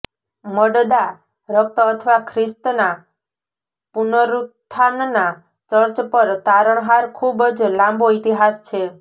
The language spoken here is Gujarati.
મડદા રક્ત અથવા ખ્રિસ્તના પુનરુત્થાનના ચર્ચ પર તારણહાર ખૂબ જ લાંબો ઇતિહાસ છે